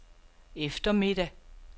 eftermiddag